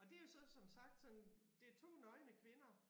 Og det jo så som sagt sådan det 2 nøgne kvinder